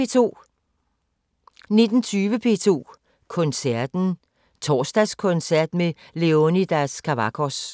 19:20: P2 Koncerten: Torsdagskoncert med Leonidas Kavakos